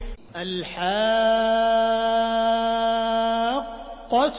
الْحَاقَّةُ